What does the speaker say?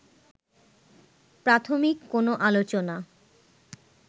প্রাথমিক কোন আলোচনা